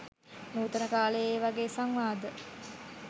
නූතන කාලේ ඒවගේ සංවාද